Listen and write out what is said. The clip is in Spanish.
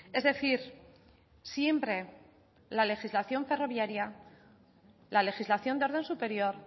es decir siempre la legislación ferroviaria la legislación de orden superior